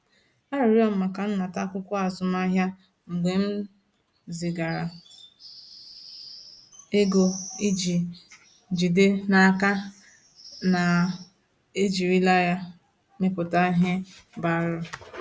Arịọrọ m maka nnata akwụkwọ azụmahịa mgbe m zigara ego iji jide n’aka na ejirila ya mepụta ihe bara uru.